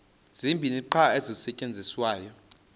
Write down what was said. zibini qha ezisasetyenziswayo